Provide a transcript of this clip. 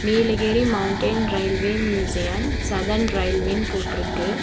Nilgiri mountain railway museum southern ரயில்வேனு போட்டுருக்கு.